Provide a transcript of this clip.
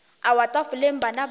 a wa tafoleng bana ba